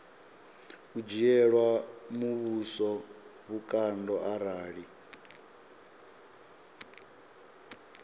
u dzhiela muvhuso vhukando arali